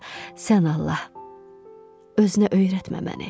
Sən Allah, özünə öyrətmə məni.